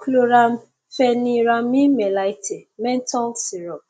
chlorampheniramine maleate menthol syrup